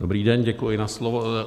Dobrý den, děkuji za slovo.